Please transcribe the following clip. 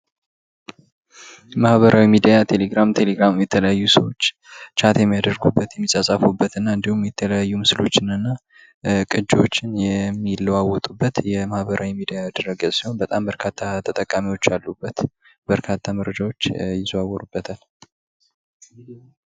ማህበራዊ ሚዲያ ቴሌግራም ቴሌግራም የተለያዩ ቻት የሚያደርጉበት የተጻጻፉበት እና እንዲሁም የተለያዩ ምስሎችን ቅጅዎችን የሚለዋወጡበት የማህበራዊ ድረገጾች በጣም መርካቶ ተጠቃሚዎች ያሉበት በርካታ መረጃዎች ይዘዋወሩበታል።